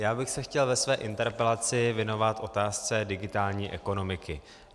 Já bych se chtěl ve své interpelaci věnovat otázce digitální ekonomiky.